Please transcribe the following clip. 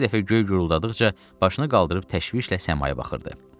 Hər dəfə göy guruldadıqca başını qaldırıb təşvişlə səmaya baxırdı.